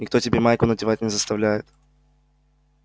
никто тебя майку надевать не заставляет